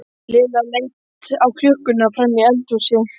Lilla leit á klukkuna frammi í eldhúsi.